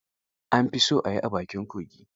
An fi so a yi a bakin kogi.